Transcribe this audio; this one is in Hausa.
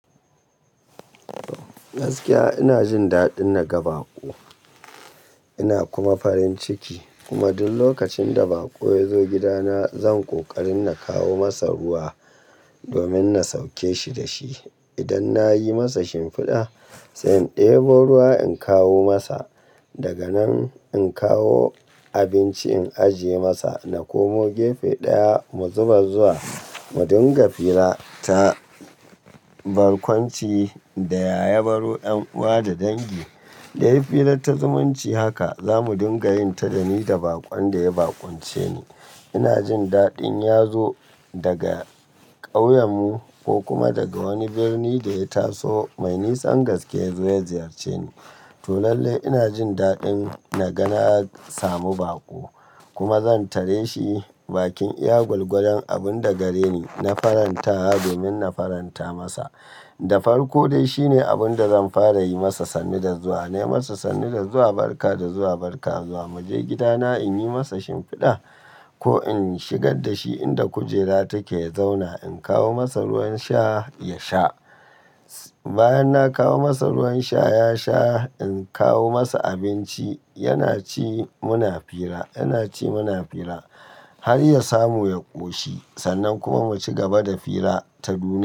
Gaskiya ina jin daɗin na ga baƙo ina kuma farin ciki. Kuma duk lokacin da baƙo ya zo gidana, zan ƙoƙari na kawo masa ruwa domin na sauke shi da shi. Idan na yi masa shimfiɗa, sai in ɗebo ruwa in kawo masa. Daga nan in kawo abinci in ajiye masa. Na komo gefe ɗaya mu zubar zuwa mu dinga fira ta barkwanci da ya ya baro, ƴan uwa da dangi. Da yi firar ta zumunci haka, za mu dinga yin ta da ni da baƙon da ya bakwance ni. Ina jin daɗin ya zo daga ƙauyenmu ko kuma daga wani birni da ya taso. Mai nisa gaske ya zo ya ziyarce ni. To lalle ina jin daɗin na ga na samu baƙo kuma zan tare shi bakin iya gwalgwalen abun da gare ni na farantawa domin na faranta masa. Da farko dai shine abun da zan fara yi masa sannu da zuwa. Na yi masa sannu da zuwa, barka da zuwa, barka zuwa. Mu je gidana in yi masa shimfiɗa ko in shigar da shi inda kujera take zauna. In kawo masa ruwan sha ya sha. Bayan na kawo masa ruwan sha ya sha, in kawo masa abinci yana ci muna fira, yana ci muna fira har ya samu ya ƙoshi. Sannan kuma mu ci gaba da fira ta dumi.